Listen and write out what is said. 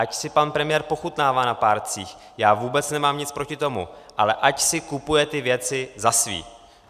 Ať si pan premiér pochutnává na párcích, já vůbec nemám nic proti tomu, ale ať si kupuje ty věci za své.